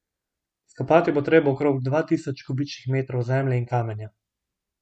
Izkopati bo treba okrog dva tisoč kubičnih metrov zemlje in kamenja.